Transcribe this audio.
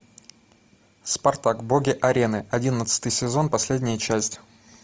спартак боги арены одиннадцатый сезон последняя часть